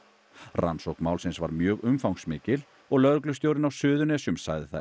rannsókn málsins var mjög umfangsmikil og lögreglustjórinn á Suðurlandi sagði það